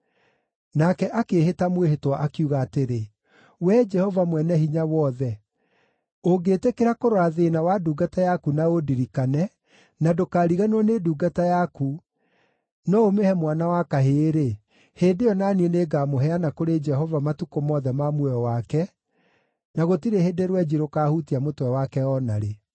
Nake akĩĩhĩta mwĩhĩtwa, akiuga atĩrĩ, “Wee Jehova Mwene-Hinya-Wothe, ũngĩĩtĩkĩra kũrora thĩĩna wa ndungata yaku na ũndirikane, na ndũkariganĩrwo nĩ ndungata yaku, no ũmĩhe mwana wa kahĩĩ-rĩ, hĩndĩ ĩyo na niĩ nĩngamũheana kũrĩ Jehova matukũ mothe ma muoyo wake, na gũtirĩ hĩndĩ rwenji rũkaahutia mũtwe wake o na rĩ.”